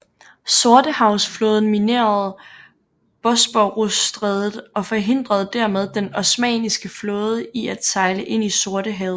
Sortehavsflåden minerede Bosporusstrædet og forhindrede dermed den osmanniske flåde i at sejle ind i Sortehavet